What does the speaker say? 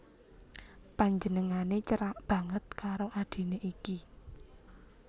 Panjenengané cerak banget karo adhiné iki